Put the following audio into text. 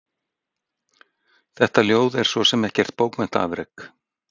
Þetta ljóð er svo sem ekkert bókmenntaafrek.